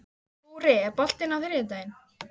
Búri, er bolti á þriðjudaginn?